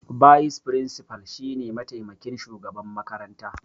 Bayis firinsifal shine mataimakin shugaban makarantar.